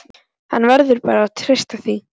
Hann verður bara að treysta því.